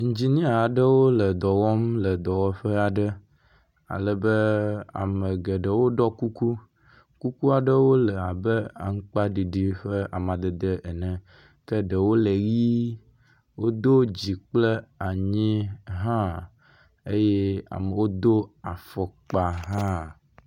Indzinia aɖewo le dɔ wɔm le dɔwɔƒe aɖe alebe ame geɖewo ɖɔ kuku, kuku aɖewo le abe aŋkpaɖiɖi ƒe amadede ene. Ke ɖewo le ʋɛ̃, wodo dzi kple anyi hã eye amewo do afɔkpa hã.